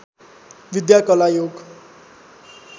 विद्या कला योग